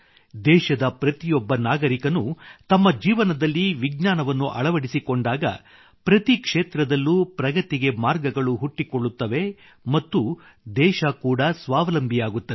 ದೇಶದ ಪ್ರತಿಯೊಬ್ಬ ನಾಗರಿಕನೂ ತಮ್ಮ ಜೀವನದಲ್ಲಿ ವಿಜ್ಞಾನವನ್ನು ಅಳವಡಿಸಿಕೊಂಡಾಗ ಪ್ರತಿ ಕ್ಷೇತ್ರದಲ್ಲೂ ಪ್ರಗತಿಗೆ ಮಾರ್ಗಗಳು ಹುಟ್ಟಿಕೊಳ್ಳುತ್ತವೆ ಮತ್ತು ದೇಶ ಕೂಡ ಸ್ವಾವಲಂಬಿಯಾಗುತ್ತದೆ